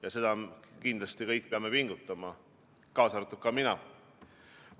Ja selles me peame kindlasti kõik pingutama, kaasa arvatud mina.